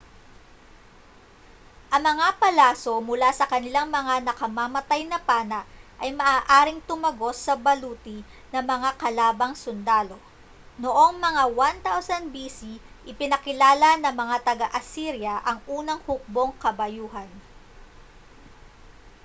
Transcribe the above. ang mga palaso mula sa kanilang mga nakamamatay na pana ay maaaring tumagos sa baluti ng mga kalabang sundalo noong mga 1000 b.c. ipinakilala ng mga taga-assyria ang unang hukbong-kabayuhan